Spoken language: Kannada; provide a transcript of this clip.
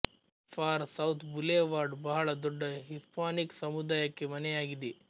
ಫಾರ್ ಸೌತ್ ಬುಲೇವಾರ್ಡ್ ಬಹಳ ದೊಡ್ಡ ಹಿಸ್ಪಾನಿಕ್ ಸಮುದಾಯಕ್ಕೆ ಮನೆಯಾಗಿದೆ